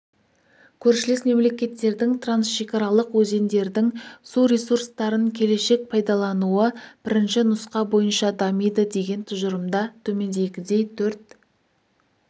көршілес мемлекеттердің трансшекаралық өзендердің су ресурстарын келешек пайдалануы бірінші нұсқа бойынша дамиды деген тұжырымда төмендегідей төрт